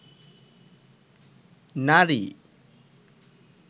নারী